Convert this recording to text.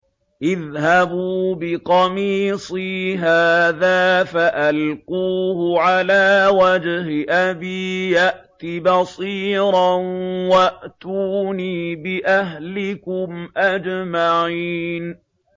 اذْهَبُوا بِقَمِيصِي هَٰذَا فَأَلْقُوهُ عَلَىٰ وَجْهِ أَبِي يَأْتِ بَصِيرًا وَأْتُونِي بِأَهْلِكُمْ أَجْمَعِينَ